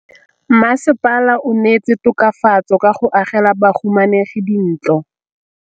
Mmasepala o neetse tokafatsô ka go agela bahumanegi dintlo.